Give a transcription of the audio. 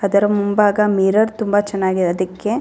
ಅದರ ಮುಂಭಾಗ ಮಿರರ್ ತುಂಬಾ ಚೆನ್ನಾಗಿದೆ ಅದಕ್ಕೆ --